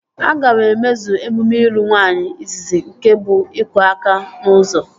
Aga m emezu emume ịlụ nwaanyị izizi nke bụ iku aka n'ụzọ